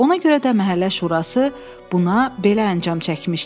Ona görə də məhəllə şurası buna belə əncam çəkmişdi.